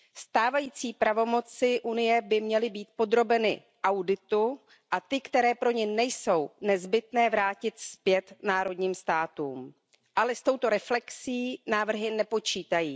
Stávající pravomoci Unie by měly být podrobeny auditu a ty, které pro ni nejsou nezbytné, by se měly vrátit zpět národním státům. Ale s touto reflexí návrhy nepočítají.